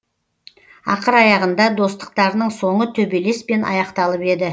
ақыр аяғында достықтарының соңы төбелеспен аяқталып еді